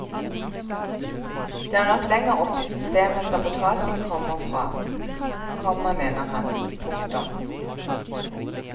Det er nok lenger oppe i systemet sabotasjen kommer fra, komma mener han. punktum